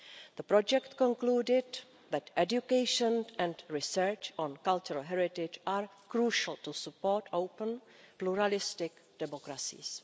The project concluded that education and research on cultural heritage are crucial to support open pluralistic democracies.